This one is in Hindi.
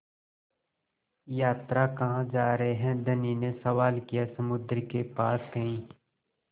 यात्रा कहाँ जा रहे हैं धनी ने सवाल किया समुद्र के पास कहीं